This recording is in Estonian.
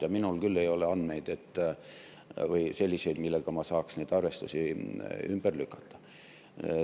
Ja minul küll ei ole selliseid andmeid, millega ma saaks neid arvestusi ümber lükata.